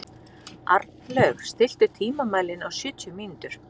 Arnlaug, stilltu tímamælinn á sjötíu mínútur.